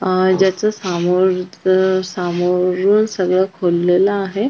ज्याच्या समोरच सामोर सगळ खोललेल आहे.